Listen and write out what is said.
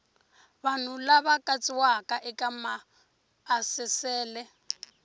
vanhu lava katsiwaka eka maasesele